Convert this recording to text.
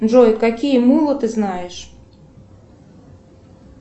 джой какие мулы ты знаешь